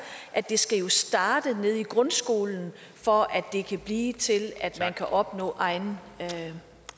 at det jo skal starte nede i grundskolen for at det kan blive til at man kan opnå egen